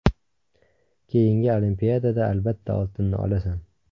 Keyingi Olimpiadada albatta oltinni olasan.